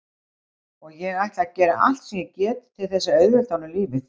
Og ég ætla að gera allt sem ég get til þess að auðvelda honum lífið.